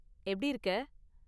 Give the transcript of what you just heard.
எப்படி இருக்க?